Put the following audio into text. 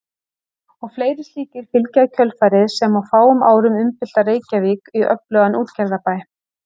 Og fleiri slíkir fylgja í kjölfarið sem á fáum árum umbylta Reykjavík í öflugan útgerðarbæ.